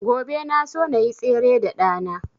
Gobe na so nayi tsere da ɗa na